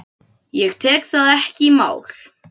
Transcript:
Ég tek það ekki í mál!